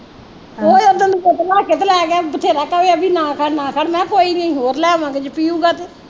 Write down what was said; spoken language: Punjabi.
ਉਹ ਲੱਗ ਤੇ ਲੈ ਗਿਆ ਬਥੇਰਾ ਕਵੀ ਅਬੀ ਨਾ ਕਰ ਨਾ ਕਰ ਮੈਂ ਕਿਹਾ ਕੋਈ ਨੀ ਹੋਰ ਲੈ ਆਵਾਂਗੇ ਜੇ ਪੀਊਗਾ ਤੇ